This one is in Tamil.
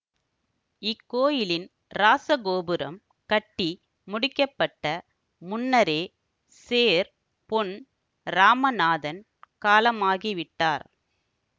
இக்கோயிலின் இராசகோபுரம் கட்டி முடிக்க பட்ட முன்னரே சேர் பொன் இராமநாதன் காலமாகிவிட்டார்